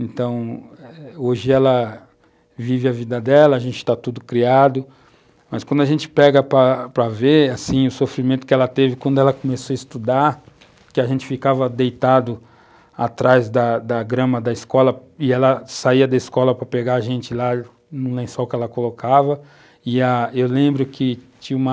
Então, hoje ela vive a vida dela, a gente está tudo criado, mas quando a gente pega para ver, assim, o sofrimento que ela teve quando ela começou a estudar, que a gente ficava deitado atrás da grama da escola, e ela saía da escola para pegar a gente lá no lençol que ela colocava, e a eu lembro que tinha uma